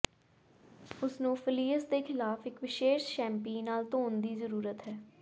ਉਹਨਾਂ ਨੂੰ ਫਲੀਅਸ ਦੇ ਖਿਲਾਫ ਇੱਕ ਵਿਸ਼ੇਸ਼ ਸ਼ੈਂਪੀ ਨਾਲ ਧੋਣ ਦੀ ਜ਼ਰੂਰਤ ਹੈ